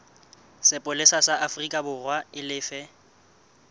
sepolesa sa aforikaborwa e lefe